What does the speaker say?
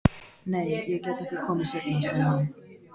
Nei, ég get ekki komið seinna, sagði hann.